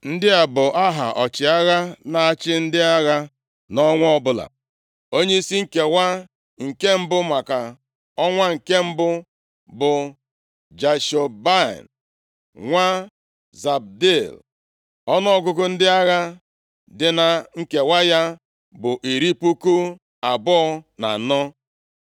Ndị a bụ aha ọchịagha na-achị ndị agha nʼọnwa ọbụla. Onyeisi nkewa nke mbụ, maka ọnwa nke mbụ bụ Jashobeam nwa Zabdiel. Ọnụọgụgụ ndị agha dị na nkewa ya bụ iri puku abụọ na anọ (24,000).